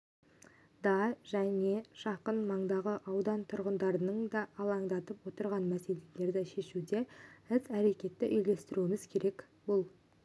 да және жақын маңдағы аудан тұрғындарын да алаңдатып отырған мәселелерді шешуде іс-әрекетті үйлестіруіміз керек бұл